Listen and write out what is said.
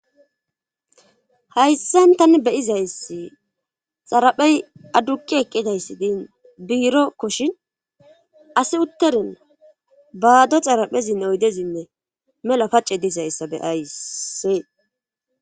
hayssan tani beyizayssi xaraphey adduqi eqqidayssi din biiro koshin asi utterin baado xaraphezinne oydezinne mela pacce dizayssa beyayssee